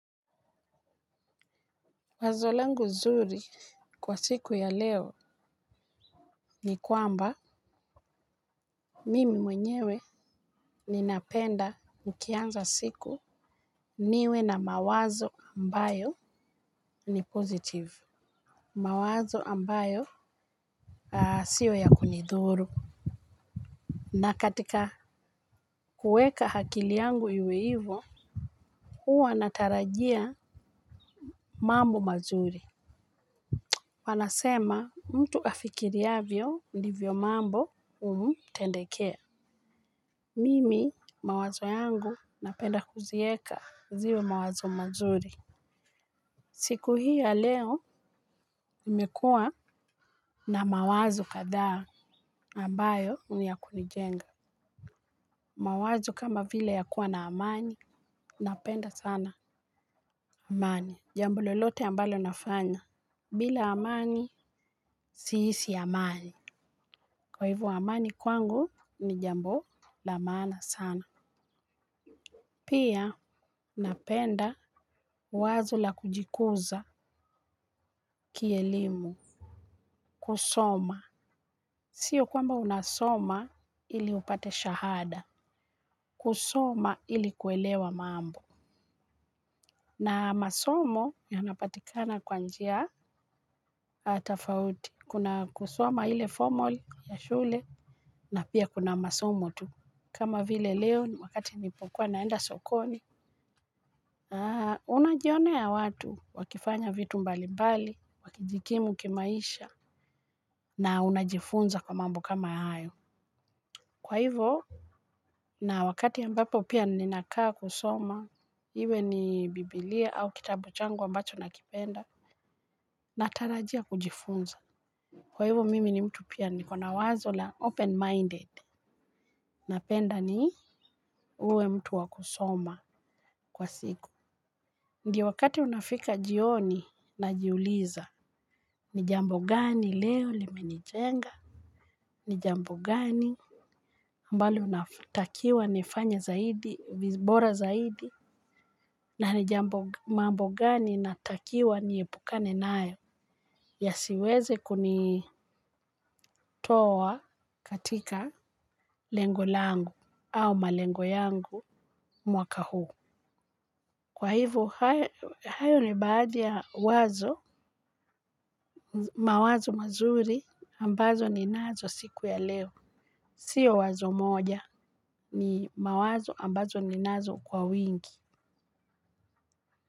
Wazo langu nzuri kwa siku ya leo ni kwamba mimi mwenyewe ni napenda mkianza siku niwe na mawazo ambayo ni positive. Mawazo ambayo sio ya kunidhuru. Na katika kuweka akili yangu iwe hivyo. Huwa natarajia mambo mazuri. Wanasema mtu afikiriavyo ndivyo mambo humtendekea. Mimi mawazo yangu napenda kuzieka ziwe mawazo mazuri. Siku hii ya leo imekua na mawazo kadha ambayo ni ya kunijenga. Mawazo kama vile ya kuwa na amani, napenda sana amani. Jambo lolote ambalo nafanya. Bila amani, siisi amani. Kwa hivyo amani kwangu ni jambo la maana sana. Pia napenda wazo la kujikuza kielimu kusoma. Sio kwamba unasoma ili upate shahada. Kusoma ili kuelewa mambo. Na masomo yanapatikana kwa njia tofauti. Kuna kusoma ile formal ya shule na pia kuna masomo tu. Kama vile leo wakati nilipokuwa naenda sokoni. Unajionea watu, wakifanya vitu mbali mbali, wakijikimu kimaisha, na unajifunza kwa mambo kama hayo. Kwa hivyo, na wakati ambapo pia ninakaa kusoma, iwe ni biblia au kitabu changu ambacho na kipenda, natarajia kujifunza. Kwa hivyo mimi pia niko na wazo la open minded napenda ni uwe mtu wa kusoma kwa siku. Ndio wakati unafika jioni najiuliza ni jambo gani leo limenijenga, ni jambo gani ambalo natakiwa nifanye bora zaidi na ni mambo gani natakiwa niepukane nayo. Ya siweze kunitoa katika lengo langu au malengo yangu mwaka huu. Kwa hivyo, hayo ni baadhi ya wazo, mawazo mazuri ambazo ninazo siku ya leo. Sio wazo moja ni mawazo ambazo ninazo kwa wingi.